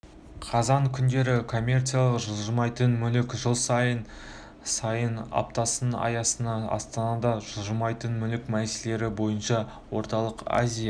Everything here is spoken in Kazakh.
қазан күндері коммерциялық жылжымайтын мүлік жыл сайынғы аптасының аясында астанада жылжымайтын мүлік мәселелері бойынша орталық азия